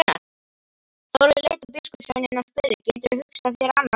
Þórður leit á biskupssveininn og spurði: Geturðu hugsað þér annað eins?!